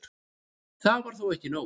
Það var þó ekki nóg.